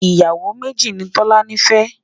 ìyàwó méjì nì tọ̀lání fé